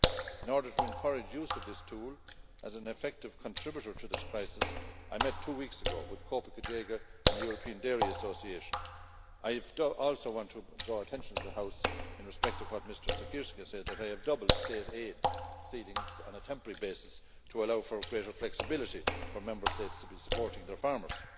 In order to encourage use of this tool as an effective contributor to this crisis, I met two weeks ago with COPA COGECA and the European Dairy Association. I also want to draw the attention of the House, in respect of what Mr Siekierski said, to the fact that I have doubled state aid ceilings on a temporary basis to allow for greater flexibility for Member States in supporting their farmers.